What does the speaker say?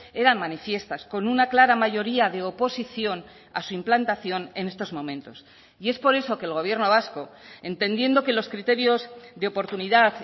eran manifiestas con una clara mayoría de oposición a su implantación en estos momentos y es por eso que el gobierno vasco entendiendo que los criterios de oportunidad